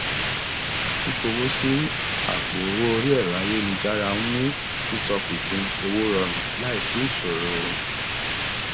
fífowó sí àpò owó orí ẹrọ ayélujára ń mú títọpinpin owó rọrùn láìsí ìṣòro